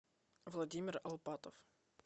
владимир алпатов